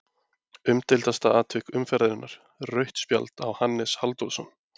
Umdeildasta atvik umferðarinnar: Rautt spjald á Hannes Halldórsson?